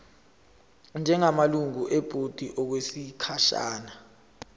njengamalungu ebhodi okwesikhashana